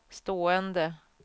stående